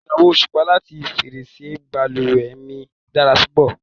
ìran osupa lati ferese baluwe mi dara púpọ̀